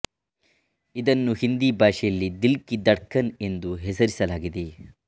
ಇದನ್ನು ಹಿಂದಿ ಭಾಷೆಯಲ್ಲಿ ದಿಲ್ ಕಿ ಧಡ್ಕನ್ ಎಂದು ಹೆಸರಿಸಲಾಗಿದೆ